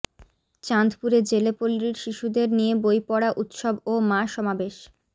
চাঁদপুরে জেলে পল্লীর শিশুদের নিয়ে বইপড়া উৎসব ও মা সমাবেশ